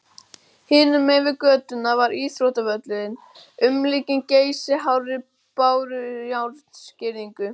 Hinum megin við götuna var íþróttavöllurinn, umlukinn geysihárri bárujárnsgirðingu.